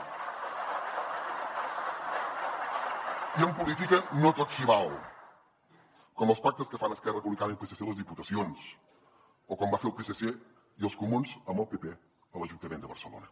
i en política no tot s’hi val com els pactes que fan esquerra republicana i el psc a les diputacions o com van fer el psc i els comuns amb el pp a l’ajuntament de barcelona